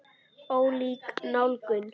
Ólík nálgun.